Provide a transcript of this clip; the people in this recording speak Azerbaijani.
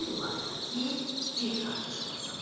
İllah da ki, bir qardaş olasan.